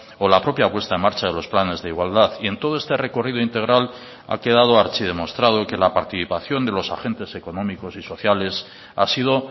o la propia puesta en marcha de los planes de igualdad y en todo este recorrido integral ha quedado archidemostrado que la participación de los agentes económicos y sociales ha sido